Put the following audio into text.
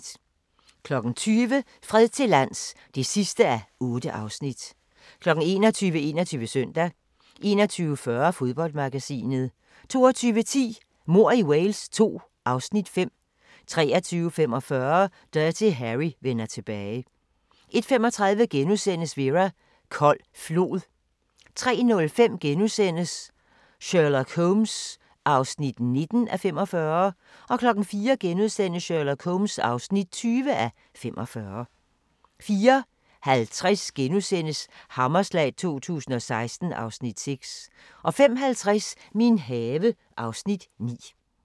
20:00: Fred til lands (8:8) 21:00: 21 Søndag 21:40: Fodboldmagasinet 22:10: Mord i Wales II (Afs. 5) 23:45: Dirty Harry vender tilbage 01:35: Vera: Kold flod * 03:05: Sherlock Holmes (19:45)* 04:00: Sherlock Holmes (20:45)* 04:50: Hammerslag 2016 (Afs. 6)* 05:50: Min have (Afs. 9)